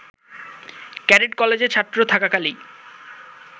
cadet কলেজে ছাত্র থাকাকালেই